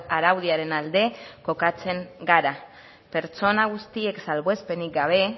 araudiaren alde kokatzen gara pertsona guztiek salbuespenik gabe